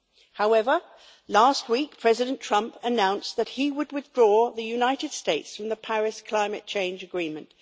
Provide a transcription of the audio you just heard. However, last week President Trump announced that he would withdraw the United States from the Paris climate change agreement.